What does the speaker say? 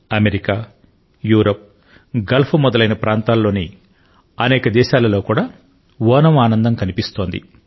America Europe Gulf మొదలైన ప్రాంతాలలోని అనేక దేశాలలో కూడా ఓణమ్ ఆనందం కనిపిస్తోంది